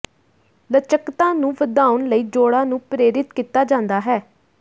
ਲਚਕਤਾ ਨੂੰ ਵਧਾਉਣ ਲਈ ਜੋੜਾਂ ਨੂੰ ਪ੍ਰੇਰਿਤ ਕੀਤਾ ਜਾਂਦਾ ਹੈ